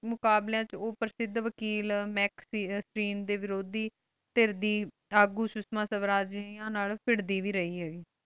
ਮੁਕ਼ਾਬ੍ਲਾਯ ਵਿਚ ਓਹ ਪ੍ਰਸਿਧ ਵਾਕੇਲ ਮਾਕ੍ਸ ਦੇ ਵਿਰਾਧੀ ਤਰਦੀਦ ਅਗੋ ਸ਼ੁਸਮਾ ਸਵ੍ਰਾਜੀ ਨਾਲ ਭਿਰ੍ਡੀ ਵੇ ਰਹੀ